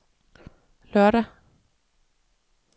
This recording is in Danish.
lørdag